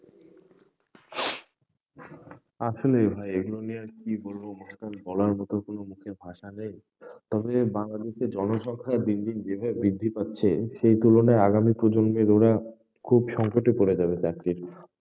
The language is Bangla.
আসলেই ভাই, এগুলো নিয়ে আর কি বলবো, মনে করেন বলার মত কোনো মুখের ভাষা নেই তবে বাংলাদেশের জনসংখ্যা দিন দিন যেভাবে বৃদ্ধি পাচ্ছে, সেই তুলনায় আগামী প্রজন্মের ওরা, খুব সংকটে পরে যাবে চাকরির।